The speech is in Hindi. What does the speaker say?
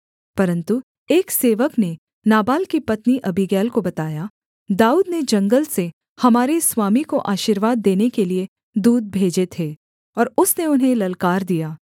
परन्तु एक सेवक ने नाबाल की पत्नी अबीगैल को बताया दाऊद ने जंगल से हमारे स्वामी को आशीर्वाद देने के लिये दूत भेजे थे और उसने उन्हें ललकार दिया